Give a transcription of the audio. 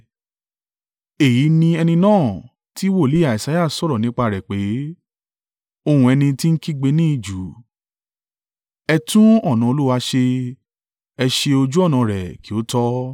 Èyí ni ẹni náà ti wòlíì Isaiah sọ̀rọ̀ nípa rẹ̀ pé, “Ohùn ẹni ti ń kígbe ní ijù, ‘Ẹ tún ọ̀nà Olúwa ṣe, ẹ ṣe ojú ọ̀nà rẹ̀ kí ó tọ́.’ ”